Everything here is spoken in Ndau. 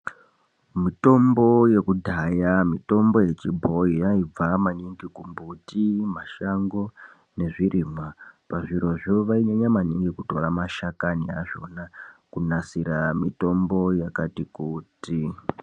Mitombo yekudhaya mitombo yechibhoi yaibva maningi kumbuti, mashango nezvirimwa. Pazvirozvo vainyanya maningi kutora mashakani achona kunasira mitombo yakati kuti.